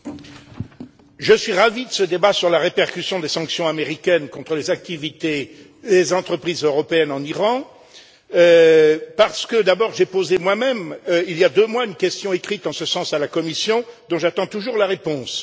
Madame la Présidente, je suis ravi de ce débat sur la répercussion des sanctions américaines contre les activités des entreprises européennes en Iran parce que, d'abord, j'ai posé moi même, il y a deux mois, une question écrite en ce sens à la Commission, dont j'attends toujours la réponse